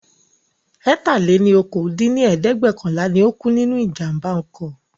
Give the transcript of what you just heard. ẹ̀ta-lé-ní-okòó dín ní ẹ̀ẹ́dẹ́gbẹ́ọ̀kànlá ni ó kú nínú ìjàmbá oko